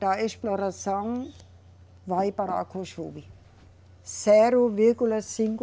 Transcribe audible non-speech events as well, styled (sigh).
da exploração vai para. (unintelligible) Zero vírgula cinco